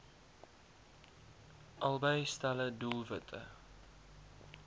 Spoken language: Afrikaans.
albei stelle doelwitte